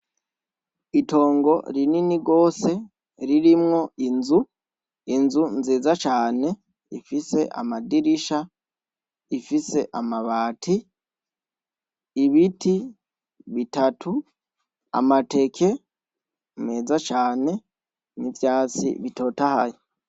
Itongo rinini gose ririmwo inzu, inzu nziza cane ifise amadirisha, ifise amabati, ibiti bitatu, amateke meza cane n'ivyatsi bitotahaye.